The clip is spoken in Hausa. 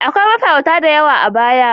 Akwai mafarauta da yawa a baya.